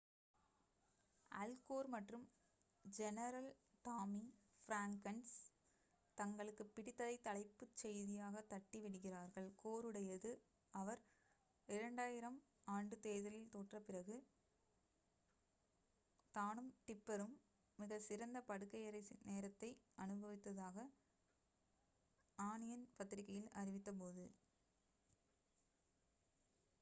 அல் Gore மற்றும் general Tommy Franks தங்களுக்குப் பிடித்ததைத் தலைப்புச் செய்தியாக தட்டி விடுகிறார்கள். கோருடையது அவர் 2000 ஆண்டு தேர்தலில் தோற்றபிறகு தானும் டிப்பரும் மிகச் சிறந்த படுக்கையறை நேரத்தை அனுபவித்ததாக ஆனியன் பத்திரிகையில் அறிவித்த போது